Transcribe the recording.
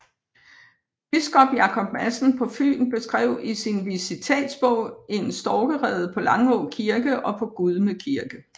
Biskop Jacob Madsen på Fyn beskrev i sin visitatsbog en storkerede på Langå Kirke og på Gudme Kirke